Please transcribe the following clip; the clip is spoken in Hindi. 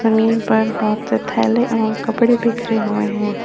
जमीन पर बहुत से थैले एवं कपड़े बिखरे हुए हैं।